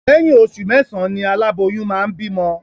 Lẹ́yìn oṣù mẹ́sàán ni aláboyún máa ń bímọ